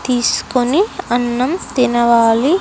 తీసుకొని అన్నం తినవాలి .